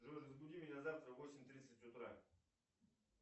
джой разбуди меня завтра в восемь тридцать утра